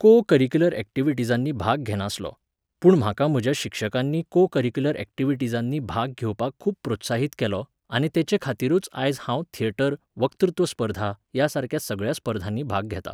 को curricular एक्टिविटिजांनी भाग घेनासलो. पूण म्हाका म्हज्या शिक्षकांनी को करिक्युलर एक्टिविटिजांनी भाग घेवपाक खूब प्रोत्साहीत केलो आनी तेचेखातीरूच आयज हांव थेटर, वक्तृत्व स्पर्धा, ह्या सारक्या सगळ्या स्पर्धांनी भाग घेतां